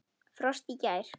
Frost í gær.